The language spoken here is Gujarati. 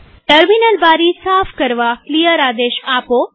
ટર્મિનલ બારી સાફ કરવા ક્લિયર આદેશ આપો